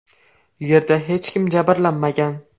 Yerda hech kim jabrlanmagan.